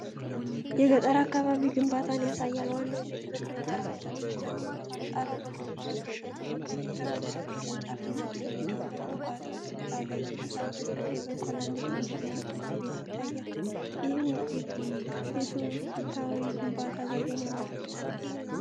የገጠር አካባቢ ግንባታን ያሳያል። ዋናው ቤት በቅርንጫፍ እንጨቶች ተገንብቶ፤ ጣራው በቆርቆሮ ተሸፍኗል። ከፊት ለፊቱ የቅርንጫፍ አጥር ሜዳውን ከግንባታው ስፍራ ለይቶታል። በስተቀኝ በኩል አንድ ትንሽና ጥቁር ቤት ይታያል፤ ይህም የትውፊታዊ የግንባታ ዘዴን ያመለክታል።